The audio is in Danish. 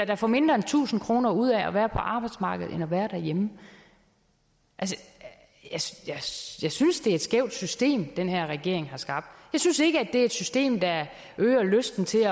der får mindre end tusind kroner ud af at være på arbejdsmarkedet frem for at være derhjemme jeg synes synes det er et skævt system den her regering har skabt jeg synes ikke det er et system der øger lysten til